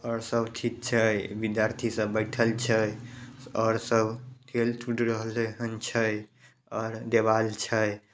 और सब ठीक छै विद्यार्थी सब बैठल छै। और सब खेल-कूद रहले हेन छै और देवाल छै।